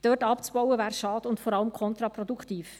Dort abzubauen wäre schade und vor allem kontraproduktiv.